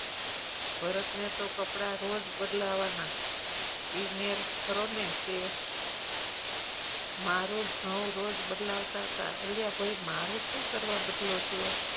ભરત ને તો કપડા રોજ બદલાવાના એ મેલ ખરોને તે મારું ખાવું રોજ બદલાવતા તા અલ્યા ભાઈ મારું શું કરવા બદલો છો